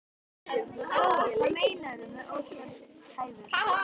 Lóa: Hvað meinarðu með óstarfhæfur?